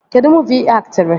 Kedụ muuvi ị aktịrị?